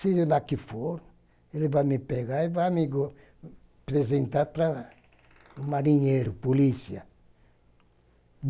Se ele lá que for, ele vai me pegar e vai me apresentar para o marinheiro, polícia.